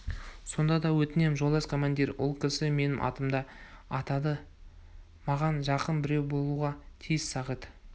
сонда да өтінем жолдас командир ол кісі менің атымды атады маған жақын біреу болуға тиіс сағит